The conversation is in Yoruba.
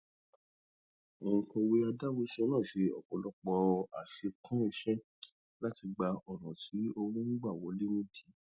ònkọwé adáhunṣe náà ṣe ọpọlọpọ àṣekún iṣẹ láti gbá ọnà tí owó n gbà wọlé nídìí